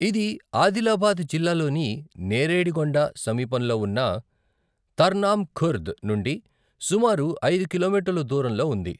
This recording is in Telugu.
ఇది ఆదిలాబాద్ జిల్లాలోని నేరేడిగొండ సమీపంలో వున్నా తర్నామ్ ఖుర్ద్ నుండి సుమారు ఐదు కిలోమీటర్లు దూరంలో ఉంది.